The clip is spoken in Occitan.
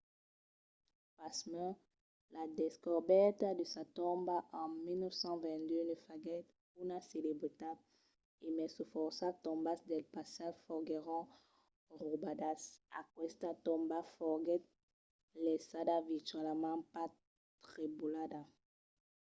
pasmens la descobèrta de sa tomba en 1922 ne faguèt una celebritat. e mai se fòrça tombas del passat foguèron raubadas aquesta tomba foguèt laissada virtualament pas trebolada